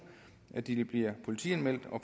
at de vil blive politianmeldt og